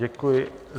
Děkuji.